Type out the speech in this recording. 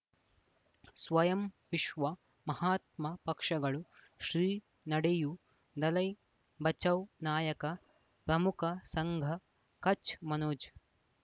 ಸ್ವಯಂ ವಿಶ್ವ ಮಹಾತ್ಮ ಪಕ್ಷಗಳು ಶ್ರೀ ನಡೆಯೂ ದಲೈ ಬಚೌ ನಾಯಕ ಗಮುಖ ಸಂಘ ಕಚ್ ಮನೋಜ್